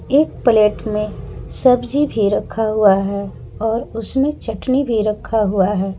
एक प्लेट में सब्जी भी रखा हुआ है और उसमें चटनी भी रखा हुआ है।